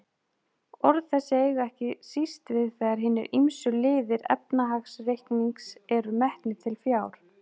Orð þessi eiga ekki síst við þegar hinir ýmsu liðir efnahagsreiknings eru metnir til fjár.